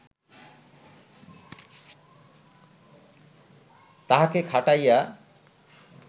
তাহাকে খাটাইয়া